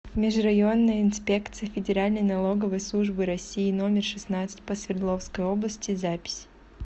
межрайонная инспекция федеральной налоговой службы россии номер шестнадцать по свердловской области запись